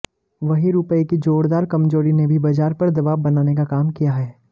वहीं रुपए की जोरदार कमजोरी ने भी बाजार पर दबाव बनाने का काम किया है